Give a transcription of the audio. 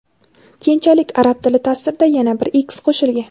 Keyinchalik arab tili taʼsirida yana bir x qo‘shilgan.